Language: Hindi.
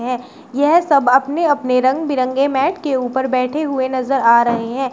है यह सब अपने-अपने रंग बिरंगे मैट के उपर बैठे हुए नजर आ रहे हैं।